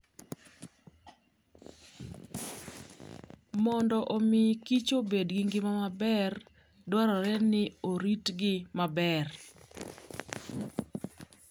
Mondo omi kichobed gi ngima maber, dwarore ni oritgi maber.